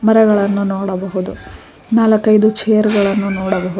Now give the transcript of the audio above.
ಮರಗಳನ್ನು ನೋಡಬಹುದು ನಾಲ್ಕೈದು ಚೇರುಗಳನ್ನು ನೋಡಬಹುದು.